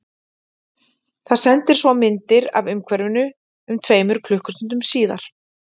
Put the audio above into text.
Það sendir svo myndir af umhverfinu um tveimur klukkustundum síðar.